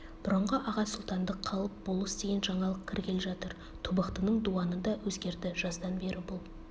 бұрынғы аға сұлтандық қалып болыс деген жаңалық кіргелі жатыр тобықтының дуаны да өзгерді жаздан бері бұл